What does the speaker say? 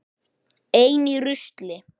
Ein í rusli.